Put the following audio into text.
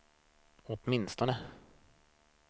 åtminstone